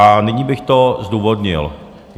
A nyní bych to zdůvodnil.